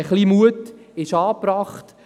Ein bisschen Mut ist angebracht.